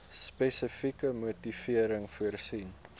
spesifieke motivering voorsien